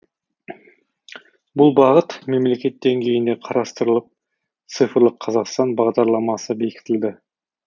бұл бағыт мемлекет деңгейінде қарастырылып цифрлық қазақстан бағдарламасы бекітілді